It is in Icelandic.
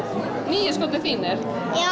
nýju skórnir þínir